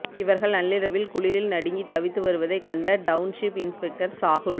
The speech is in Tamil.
இவர்கள் நள்ளிரவில் குளிரில் நடுங்கி தவித்து வருவதை கண்ட டவுன்ஷிப் இன்ஸ்பெக்டர் சாகுல்